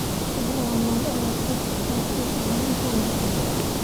Xoolaha nool ayaa ka qayb qaata ilaalinta nabadda.